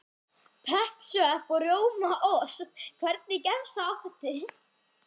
Pepp, svepp og rjómaost Hvernig gemsa áttu?